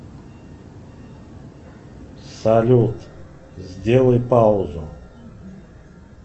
салют сделай паузу